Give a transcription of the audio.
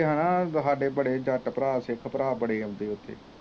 ਸਾਡੇ ਬੜੇ ਜਾਟ ਭਰਾ ਸਿੱਖ ਭਰਾ ਬੜੇ ਆਉਂਦੇ ਉਥੇ